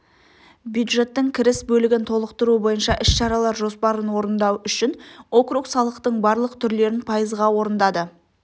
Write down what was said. бюджеттің кіріс бөлігін толықтыру бойынша іс-шаралар жоспарын орындау үшін округ салықтың барлық түрлерін пайызға орындады